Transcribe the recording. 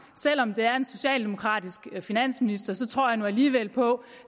selv om det er en socialdemokratisk finansminister tror jeg nu alligevel på